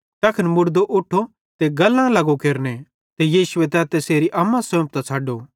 तैखन मुड़दो उठो ते गल्लां लगो केरने ते यीशुए तैन तैसेरी अम्मा सोंफतां छ़डू